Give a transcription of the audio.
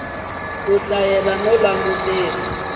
ku hlayela no langutisela ku